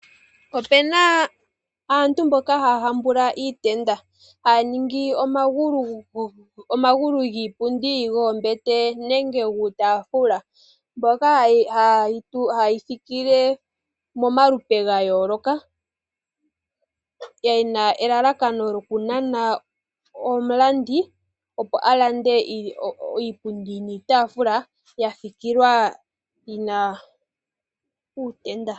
Opena aantu mboka haya hambula iitenda, haya ningi omagulu giipundi, goombete nenge guutaafula , mbyoka hayeyi fikile mo malupe ga yooloka yena elalakano lyokunana omulandi opo alande iipundi niitafula ya fikilwa yina uutenda.